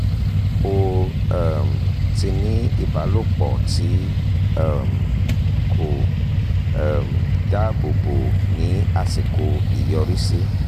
o um ti ní ìbálòpọ̀ tí um kò um dáàbò bo ní àsìkò ìyọrísí